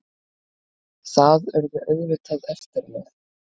Það urðu auðvitað eftirmál.